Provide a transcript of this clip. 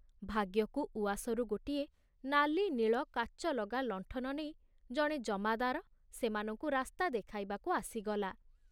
ଭାଗ୍ୟକୁ ଉଆସରୁ ଗୋଟିଏ ନାଲି ନୀଳ କାଚଲଗା ଲଣ୍ଠନ ନେଇ ଜଣେ ଜମାଦାର ସେମାନଙ୍କୁ ରାସ୍ତା ଦେଖାଇବାକୁ ଆସିଗଲା।